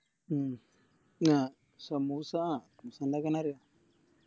ഉം ആഹ് സമൂസ ആ സമൂസ ഇണ്ടാക്കാനറിയാം